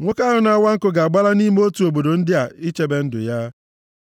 nwoke ahụ na-awa nkụ ga-agbala nʼime otu obodo ndị a ichebe ndụ ya.